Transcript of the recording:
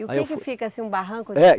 E o que que fica, assim, um barranco